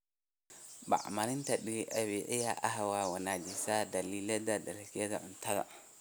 Bacriminta dabiiciga ah waxay wanaajisaa dhalidda dalagyada cuntada.